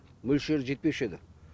мөлшері жетпеуші еді